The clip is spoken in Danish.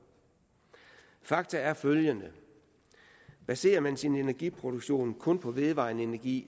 fakta er følgende baserer man sin energiproduktion kun på vedvarende energi